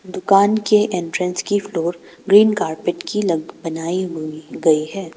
दुकान के एंट्रेंस के फ्लोर ग्रीन कारपेट की लग बनाई हुई गई है।